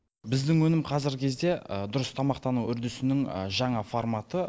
біздің өнім қазіргі кезде дұрыс тамақтану үрдісінің жаңа форматы